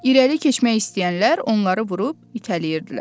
İrəli keçmək istəyənlər onları vurub itələyirdilər.